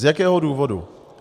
Z jakého důvodu?